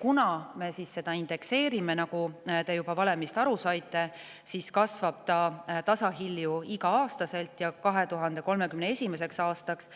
Kuna me seda indekseerime, nagu te juba valemist aru saite, siis kasvab see tasahilju igal aastal ja jõuab 2031. aastaks